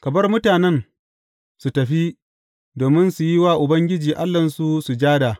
Ka bar mutanen su tafi domin su yi wa Ubangiji Allahnsu sujada.